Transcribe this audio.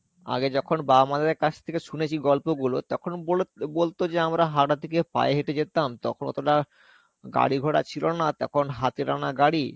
আগে যখন বাবা মা দের কাছ থেকে শুনেছি গল্প গুলো, তখন বল~ বলতো যে আমরা হাওড়া থেকে পায়ে হেঁটে যেতাম. তখন অতোটা গাড়িঘোড়া ছিলনা তখন হাতে টানা গাড়ি